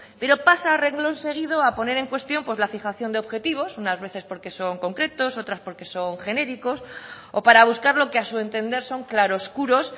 pero pasa a reglón seguido a poner en cuestión la fijación de objetivos unas veces porque son concretos otras porque son genéricos o para buscar lo que a su entender son claro oscuros